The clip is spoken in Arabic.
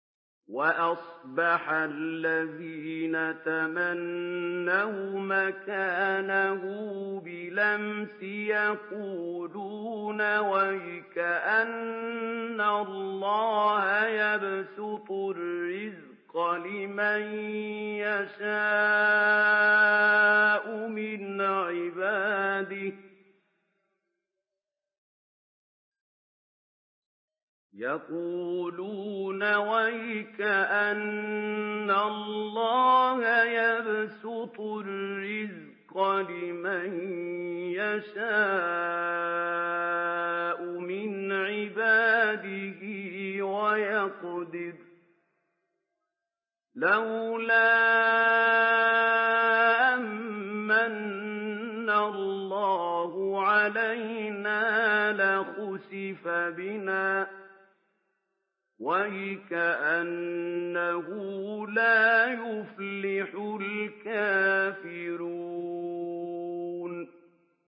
وَأَصْبَحَ الَّذِينَ تَمَنَّوْا مَكَانَهُ بِالْأَمْسِ يَقُولُونَ وَيْكَأَنَّ اللَّهَ يَبْسُطُ الرِّزْقَ لِمَن يَشَاءُ مِنْ عِبَادِهِ وَيَقْدِرُ ۖ لَوْلَا أَن مَّنَّ اللَّهُ عَلَيْنَا لَخَسَفَ بِنَا ۖ وَيْكَأَنَّهُ لَا يُفْلِحُ الْكَافِرُونَ